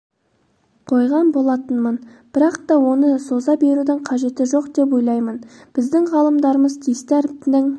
қойған болатынмын бірақ та оны соза берудің қажеті жоқ деп ойлаймын біздің ғалымдарымыз тиісті әріптің